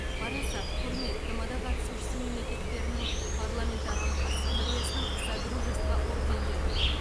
парасат құрмет тмд қатысушысы мемлекеттерінің парламентаралық ассамблеясының содружество ордендерімен